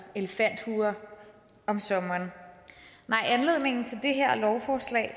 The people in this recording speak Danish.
elefanthue om sommeren nej anledningen til det her lovforslag